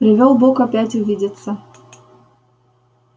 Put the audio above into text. привёл бог опять увидеться